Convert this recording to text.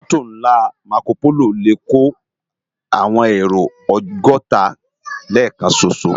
Mòtó nlá Mákópóló lè kó áwòn éró ògòtá lèkán ṣóṣó